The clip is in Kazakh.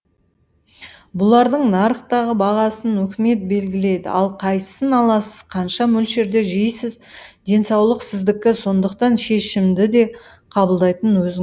бұлардың нарықтағы бағасын үкімет белгілейді ал қайсысын аласыз қанша мөлшерде жейсіз денсаулық сіздікі сондықтан шешімді де қабылдайтын өзің